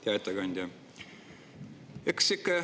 Hea ettekandja!